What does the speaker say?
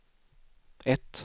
ett